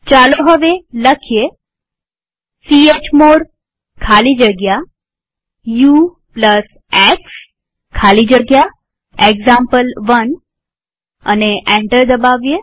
ચાલો હવે લખીએ ચમોડ ખાલી જગ્યા ux ખાલી જગ્યા એક્ઝામ્પલ1 અને એન્ટર દબાવીએ